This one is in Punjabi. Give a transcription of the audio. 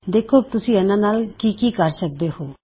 ਦੇਖੋ ਕੀ ਤੁਸੀਂ ਇੱਨ੍ਹਾ ਨਾਲ ਕੀ ਕੀ ਕਰ ਸਕਦੇ ਹੋਂ